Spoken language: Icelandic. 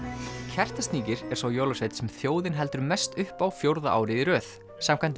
Kertasníkir er sá jólasveinn sem þjóðin heldur mest upp á fjórða árið í röð samkvæmt